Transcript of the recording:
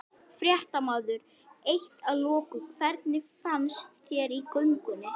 Fréttamaður: Eitt að loku, hvernig fannst þér í göngunni?